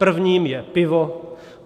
Prvním je pivo.